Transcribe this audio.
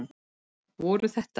Voru þetta.